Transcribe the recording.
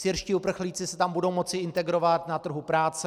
Syrští uprchlíci se tam budou moci integrovat na trhu práce.